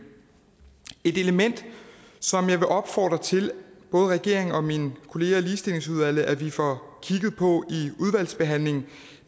et element som jeg vil opfordre både regeringen og mine kolleger i ligestillingsudvalget til at vi får kigget på